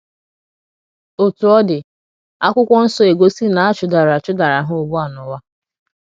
Otú ọ dị, akwụkwo nsọ egosi na a chụdara chụdara ha ugbu a n’ụwa